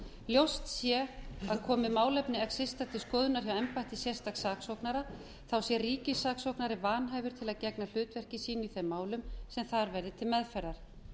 ljóst sé að komi málefni exista til skoðunar hjá embætti sérstaks saksóknara þá sé ríkissaksóknari vanhæfur til að gegna hlutverki sínu í þeim málum sem þar verði til meðferðar